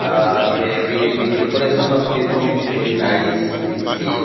ah they the the decoration of the room is bery nicely see.